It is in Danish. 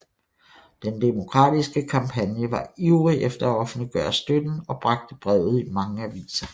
Den Demokratiske kampagne var ivrig efter at offentliggøre støtten og bragte brevet i mange aviser